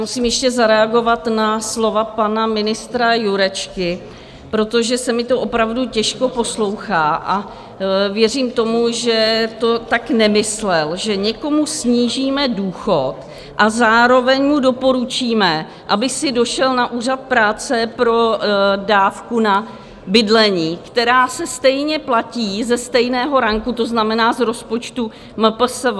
Musím ještě zareagovat na slova pana ministra Jurečky, protože se mi to opravdu těžko poslouchá, a věřím tomu, že to tak nemyslel, že někomu snížíme důchod a zároveň mu doporučíme, aby si došel na úřad práce pro dávku na bydlení, která se stejně platí ze stejného ranku, to znamená z rozpočtu MPSV.